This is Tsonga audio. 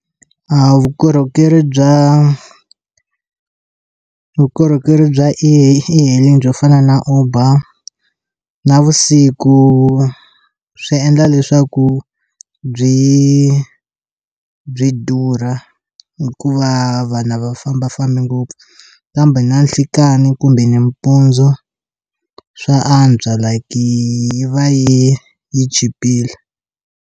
A vukorhokeri bya vukorhokeri bya e hailing byo fana na uber navusiku swi endla leswaku byi byi durha hikuva vanhu a va fambafambi ngopfu kambe na nhlikani kumbe nimpundzu swa antswa like yi va yi yi chipile.